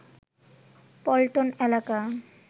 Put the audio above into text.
পল্টন এলাকা